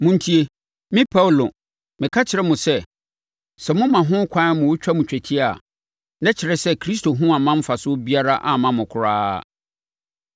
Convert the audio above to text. Montie! Me Paulo, meka mekyerɛ mo sɛ, sɛ moma ho ɛkwan ma wɔtwa mo twetia a, na ɛkyerɛ sɛ Kristo ho amma mfasoɔ biara amma mo koraa.